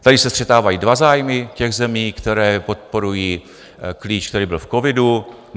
Tady se střetávají dva zájmy těch zemí, které podporují klíč, který byl v covidu.